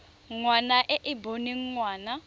ngwana e e boneng ngwana